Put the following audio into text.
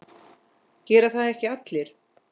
Gera það ekki allir?